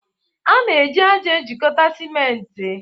A na-eji ájá ejikọta simenti.